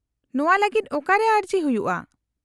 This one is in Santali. -ᱱᱚᱶᱟ ᱞᱟᱹᱜᱤᱫ ᱚᱠᱟᱨᱮ ᱟᱹᱨᱡᱤ ᱦᱩᱭᱩᱜᱼᱟ ?